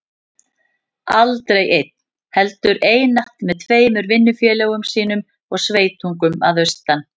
Aldrei einn, heldur einatt með tveimur vinnufélögum sínum og sveitungum að austan.